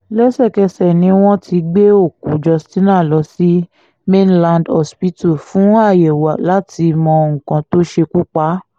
lẹ́sẹ̀kẹsẹ̀ ni wọ́n ti gbé òkú justina lọ sí mainland hospital fún àyẹ̀wò láti mọ nǹkan tó ṣekú pa á